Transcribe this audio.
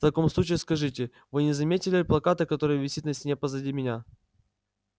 в таком случае скажите вы не заметили плаката который висит на стене позади меня